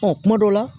Ɔ kuma dɔ la